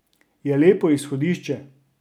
Je lepo izhodišče.